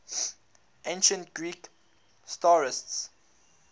ancient greek satirists